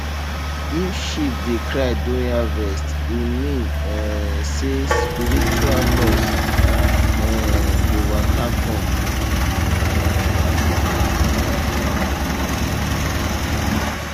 if sheep dey cry during harvest e mean um say spiritual loss um dey waka come um